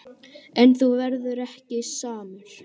En þú verður ekki samur.